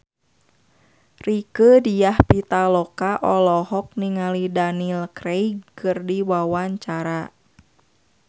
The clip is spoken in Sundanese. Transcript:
Rieke Diah Pitaloka olohok ningali Daniel Craig keur diwawancara